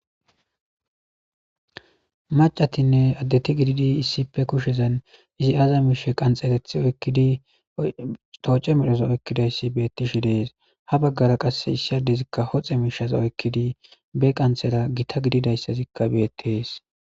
macatinne addeti gididi issippe kushezan izi aza miishe qanxegathi oyikidi tooce medhoza oykkidayssi beettishe de7es ha baggara qasse issi adezikka hoxe miishaza oykkidi be qanxera gita gididayssazikka beettees